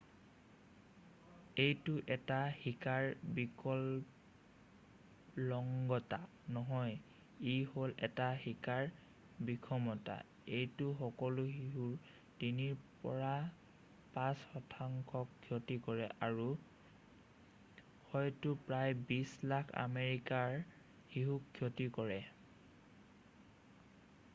এইটো এটা শিকাৰ বিকলংগতা নহয় ই হ'ল এটা শিকাৰ বিষমতা এইটোৱে সকলো শিশুৰ 3ৰ পৰা 5 শতাংশক ক্ষতি কৰে আৰু হয়তো প্ৰায় 20 লাখ আমেৰিকাৰ শিশুক ক্ষতি কৰে